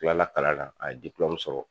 Tilala kalan na a ye sɔrɔ